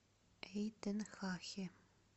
эйтенхахе